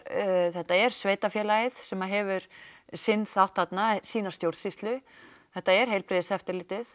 þetta er sveitafélagið sem hefur sinn þátt þarna sína stjórnsýslu þetta er heilbrigðiseftirlitið